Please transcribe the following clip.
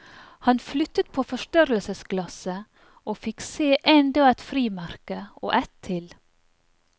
Han flyttet på forstørrelsesglasset og fikk se enda et frimerke og ett til.